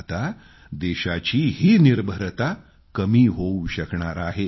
आता देशाची ही निर्भरता कमी होवू शकणार आहे